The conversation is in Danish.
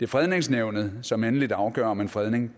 fredningsnævnet som endeligt afgør om en fredning